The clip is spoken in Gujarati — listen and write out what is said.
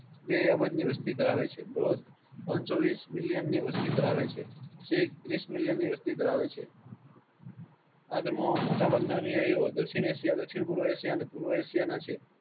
બે અબજ ની વસ્તી ધરાવે છે. બૌધ ત્રણસો વિસ મિલિયન ની વસ્તી ધરાવે છે. શીખ ત્રીસ મિલિયની વસ્તી ધરાવે છે. આ ધર્મો માં મોટા ભાગ ના અનુનાયીઓ દક્ષીણ એશિયા દક્ષીણ પૂર્વ એશિયા અને પૂર્વ એશિયાના છે.